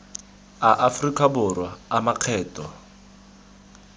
a aforika borwa a makgetho